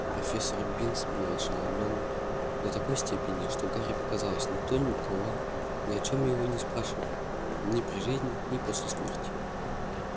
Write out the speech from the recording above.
профессор бинс был ошеломлён до такой степени что гарри показалось никто никогда ни о чем его не спрашивал ни при жизни ни после смерти